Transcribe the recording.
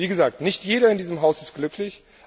Wie gesagt, nicht jeder in diesem Haus ist glücklich.